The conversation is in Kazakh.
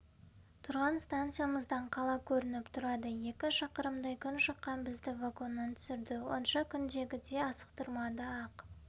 тұрған станциямыздан қала көрініп тұрады екі шақырымдай күн шыққан бізді вагоннан түсірді онша күндегідей асықтырмады ақ